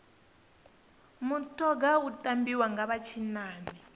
mutoga u tambiwa nga vha tshinnani